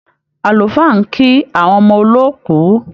Àlùfáà ń kí àwọn ọmọ olóòkú